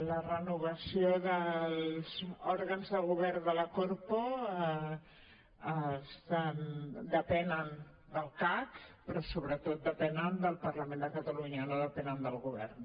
la renovació dels òrgans de govern de la corpo depèn del cac però sobretot depèn del parlament de catalunya no depèn del govern